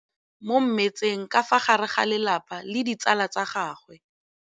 Mme o namile maoto mo mmetseng ka fa gare ga lelapa le ditsala tsa gagwe.